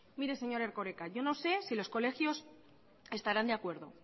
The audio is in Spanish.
mire señor erkoreka yo no sé si los colegios estarán de acuerdo